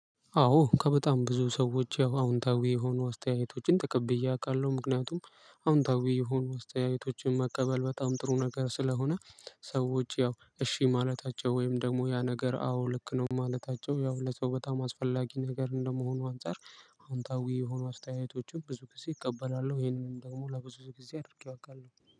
አዎ ከበጣም ብዙ ሰዎች ያው አዎንታዊ የሆኑ አስተያየቶችን ተቀብዬ አቃለሁ ምክንያቱም አዎንታዊ የሆኑ አስተያየቶችን መቀበል በጣም ጥሩ ነገር ስለሆነ ሰዎች ያው እሺ ማለታቸው ወይም ደሞ ያ ነገር አዎ ልክ ነው ማለታቸው ያው ለሰው በጣም አስፈላጊ ነገር እንደመሆኑ አንፃር አንታዊ የሆኑ አስተያየቶችን ብዙ ጊዜ እቀበላለሁ ይሄንንም ደሞ ለብዙ ጊዜ አድርጌው አውቃለሁ